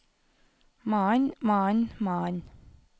mannen mannen mannen